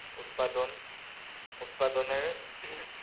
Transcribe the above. উৎপাদন উৎপাদনের,